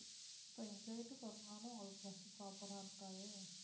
இப்போ எங்க வீட்டுக்கு வரணும்னாலும் உங்களுக்கு bus proper ஆ இருக்காதே